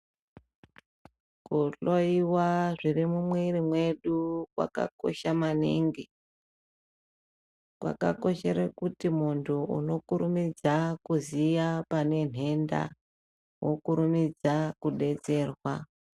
Kuhloyiwa zviri mumwiri mwedu kwakakosha maningi. Kwakakoshere kuti muntu unokurumidza kuziya pane nhenda, wokurumidza kudetserwa.